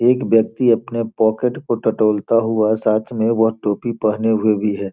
एक व्यक्ति अपने पॉकेट को टटोलता हुआ साथ में वह टोपी पहने हुए भी है।